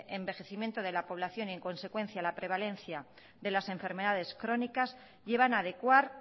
envejecimiento de la población y en consecuencia la prevalencia de las enfermedades crónicas llevan a adecuar